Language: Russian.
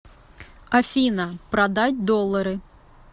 афина продать доллары